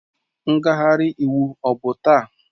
Ngagharị iwu ọ bụ taa?